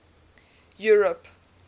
europe